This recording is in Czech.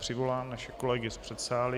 Přivolám naše kolegy z předsálí.